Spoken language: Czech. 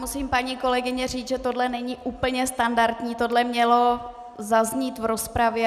Musím, paní kolegyně, říct, že toto není úplně standardní, toto mělo zaznít v rozpravě.